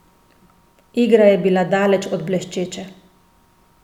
Igra je bila daleč od bleščeče.